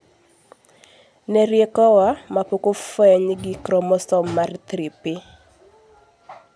ne riekowa, mae pok ofeny gi kromosom mar 3p